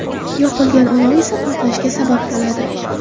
Yoqilgan olov esa portlashga sabab bo‘ladi.